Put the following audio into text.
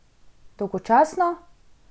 Dolgočasno?